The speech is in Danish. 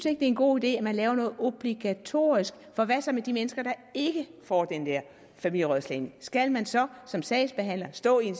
er en god idé at man laver noget obligatorisk for hvad så med de mennesker der ikke får den der familierådslagning skal man så som sagsbehandler stå i en